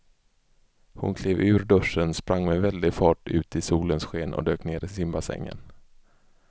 Hon klev ur duschen, sprang med väldig fart ut i solens sken och dök ner i simbassängen.